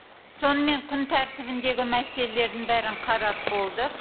сонымен күн тәртібіндегі мәселелердің бәрін қарап болдық